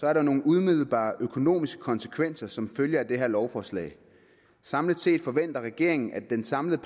er nogle umiddelbare økonomiske konsekvenser som følge af det her lovforslag samlet set forventer regeringen at den samlede